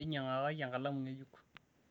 enyiangakaki enkalamu ngejuk